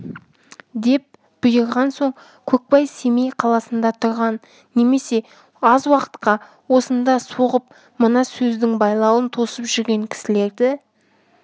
деп бұйырған соң көкбай семей қаласында тұрған немесе аз уақытқа осында соғып мына сөздің байлауын тосып жүрген кісілерді